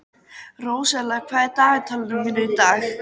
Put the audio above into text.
Róselía, hvað er á dagatalinu mínu í dag?